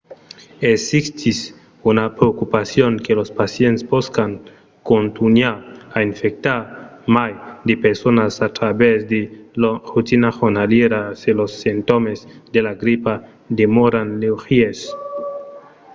existís una preocupacion que los pacients pòscan contunhar a infectar mai de personas a travèrs de lor rotina jornalièra se los simptòmes de la gripa demòran leugièrs